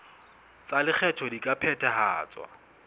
tsa lekgetho di ka phethahatswa